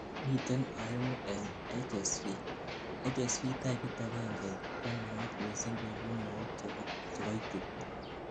miten oengu en HSV:HSV typit agengei konaat missing koibu mook chekoitit